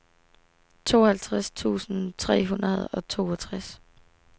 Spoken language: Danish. tooghalvtreds tusind tre hundrede og toogtres